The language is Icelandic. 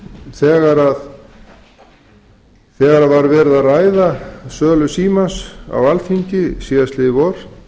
þegar var verið að ræða sölu símans á alþingi síðastliðið vor